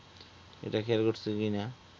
এগুলা খেয়াল করছি কিনা?